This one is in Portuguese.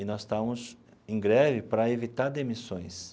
E nós estávamos em greve para evitar demissões.